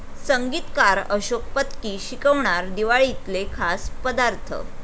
संगीतकार अशोक पत्की शिकवणार दिवाळीतले खास पदार्थ